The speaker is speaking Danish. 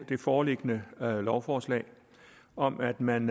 det foreliggende lovforslag om at man